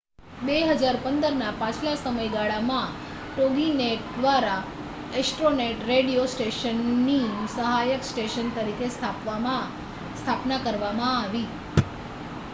2015ના પાછલા સમયગાળામાં toginet દ્વારા astronet રેડિયો સ્ટેશનની સહાયક સ્ટેશન તરીકે સ્થાપના કરવામાં આવી